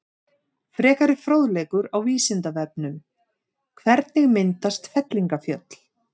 Frekari fróðleikur á Vísindavefnum: Hvernig myndast fellingafjöll?